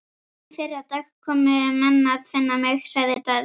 Í fyrradag komu menn að finna mig, sagði Daði.